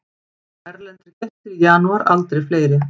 Erlendir gestir í janúar aldrei fleiri